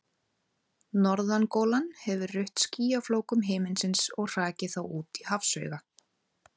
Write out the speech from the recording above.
Norðangolan hafði rutt skýjaflókum himinsins og hrakið þá út í hafsauga.